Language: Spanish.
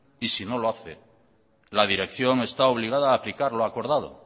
y si no lo hace la dirección está obligada a aplicar lo acordado